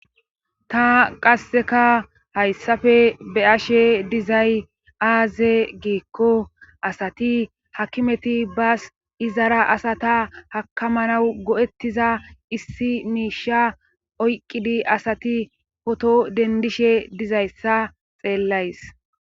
ta qasseka hayssafe be ashe dizay aaze giikko asati hakimeti baas izara asata hakamanawu go7ettiza issi miisha oyqqidi asati poto dendishe dizayssa xeellays